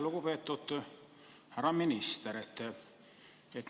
Lugupeetud härra minister!